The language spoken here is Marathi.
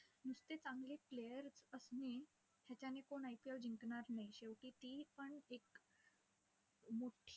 नुसते चांगले players असणे, याच्याने कोण IPL जिंकणार नाही. शेवटी तीपण एक मोठी~